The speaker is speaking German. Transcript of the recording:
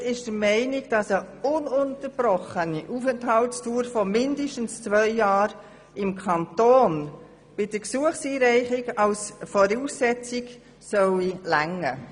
Die Kommissionsminderheit ist der Meinung, dass eine ununterbrochene Aufenthaltsdauer von mindestens zwei Jahren im Kanton bei Gesuchseinreichung ausreichen sollte.